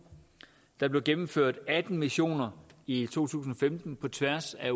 der blev gennemført atten missioner i to tusind og femten på tværs af